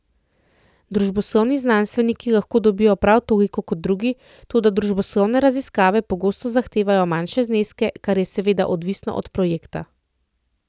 Družboslovni znanstveniki lahko dobijo prav toliko kot drugi, toda družboslovne raziskave pogosto zahtevajo manjše zneske, kar je seveda odvisno od projekta.